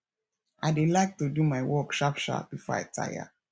i dey like to do my work sharp sharp before i tire